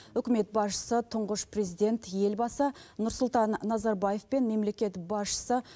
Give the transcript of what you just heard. үкімет басшысы тұңғыш президент елбасы нұрсұлтан назарбаев пен мемлекет басшысы